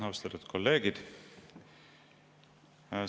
Austatud kolleegid!